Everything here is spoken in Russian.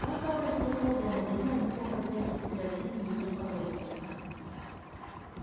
он стал ходить около дома думая об его хозяйке и о чудной её способности